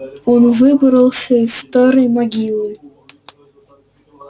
он выбрался из старой могилы